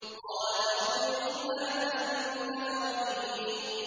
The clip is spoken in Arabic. قَالَ فَاخْرُجْ مِنْهَا فَإِنَّكَ رَجِيمٌ